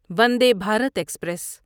ونڈے Bharat express